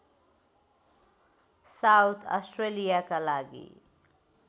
south अस्ट्रेलियाका लागि